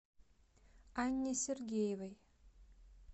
анне сергеевой